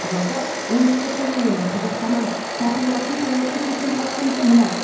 жалпы оңтүстік кореяның қазақстаннан сатып алатын тауардың сексен проценті мұнай